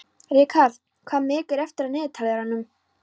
Ríkharð, hvað er mikið eftir af niðurteljaranum?